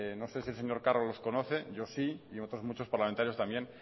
no sé si el señor carro los conoce yo sí y otros muchos parlamentarios también